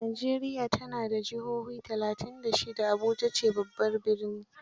Najeriya ta na da juha talatainbda shida, Abuja ce babban birni